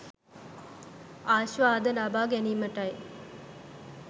ආස්වාදය ලබා ගැනීමටයි.